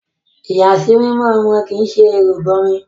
Ìyàsímímọ́ ọmọ kì ṣe ìrìbọmi